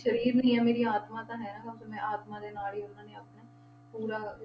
ਸਰੀਰ ਵੀ ਨੀ ਹੈ ਮੇਰੀ ਆਤਮਾ ਤਾਂ ਹੈ ਆਪਣੇ ਆਤਮਾ ਦੇ ਨਾਲ ਹੀ ਉਹਨਾਂ ਨੇ ਆਪਣੇ ਪੂਰਾ,